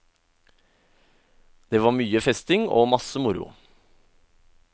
Det var mye festing og masse moro.